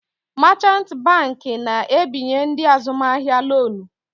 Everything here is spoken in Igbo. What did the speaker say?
Machant banki na-ebinye ndị azụmahịa lonu.